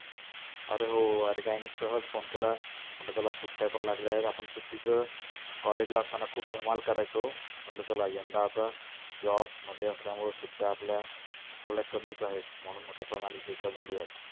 आरे हो आरे काही नाही सहज phone केला. म्हटलं चला सुट्ट्या पण लागल्या आहेत आपण सुट्टीच college ला असताना खुप धमाल करायचो म्हटलं चला यंदा आता jobs मध्ये असल्यामुळ सुट्या आपल्या थोड्या कमिच आहेत. म्हणून म्हटलं प्रणालीशी एकदा बोलुयात.